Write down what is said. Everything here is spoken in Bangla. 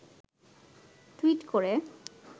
টুইট করে